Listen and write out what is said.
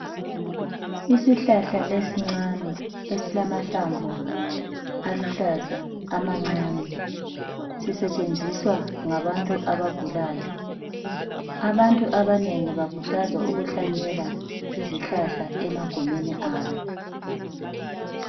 Isihlahla esincane esilamahlamvu aluhlaza amancane sisetshenziswa ngabantu abagulayo. Abantu abanengi bakhuthazwa ukuhlanyela izihlahla emagumeni abo.